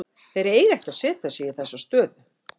Þeir eiga ekki að setja sig í þessa stöðu.